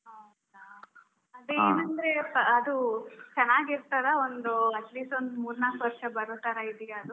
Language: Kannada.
ಹೌದಾ? ಅದೇ ಏನಂದ್ರೆ ಅದೂ ಚೆನ್ನಾಗಿರ್ತದ ಒಂದು atleast ಒಂದು ಮೂರು ನಾಲ್ಕು ವರ್ಷ ಬರೋ ತರಾ ಇದೀಯ ಅದು?